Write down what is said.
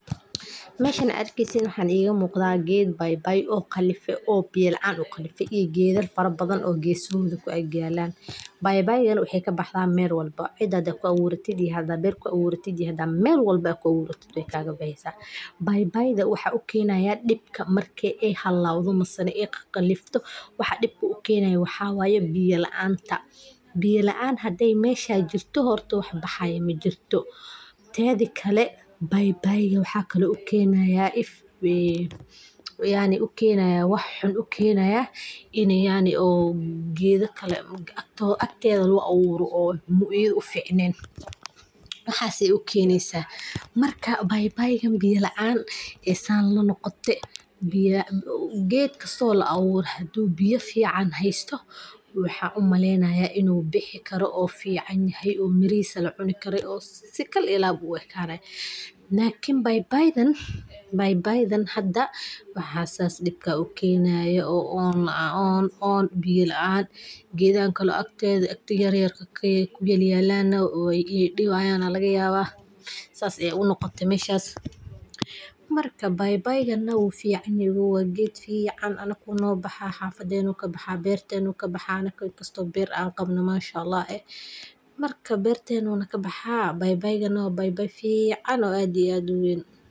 Meshan waxa idinka muqda ged paipai eh oo qalife oo biyo laan ah iyo gedo badan oo agtoda kuyalan . Paipaiga waxey kabaxda mel walbo hadad cida ku aburatid, berta mise mel walbo kuaburatid wey kaga baxeysa .Paipaiga waxa u keneya dhibka waa biyo laanta iney halowdo ama khakhalifto . Biyo hadey mesha jirto wax baxayo majirto tedha kale hadi gedo kale agteda jirin dib ayey u kenayan, u ficnen waxas ayey u kenesa , marka paipaiga biyo laan ayey san lanoqote ,ged fican oo la aburo waxan u maleynaya hadu biyo fican heysto inu bixi karo u fican yahay oo mirihisa lacuni karo oo si kal iyo lab u ekanayo lakin paipaidan waxa dib kasi u kenayo waa oon biyo laan, gedahan kale oo yaryarka agteda kuyalan iney dhibayan aa lagayaba sas ayey u noqote meshas marka paipaigana wuu fican yehe ee ogow anaku no bahaa, xafadenu kabaxa ,bertenu kabaxa inkasto ber angabno masha ALLAH, marka bertenu kabaxa paipaigana waa paipai fican oo aad iyo aad u weyn.